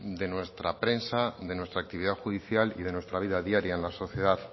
de nuestra prensa de nuestra actividad judicial y de nuestra vida diaria en la sociedad